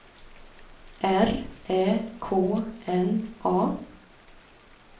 R Ä K N A